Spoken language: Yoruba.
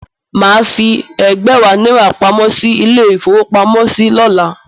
Mà á fi ẹ̀gbẹ̀wá náírà pamọ́ sí ilé-ìfowópamọ́sí lọ́la.